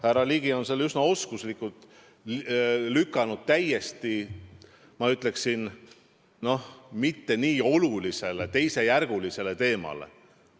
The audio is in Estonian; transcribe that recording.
Härra Ligi on üsna oskuslikult tähelepanu suunanud, ma ütleksin, mitte nii olulisele teemale, teisejärgulisele teemale.